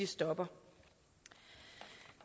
stopper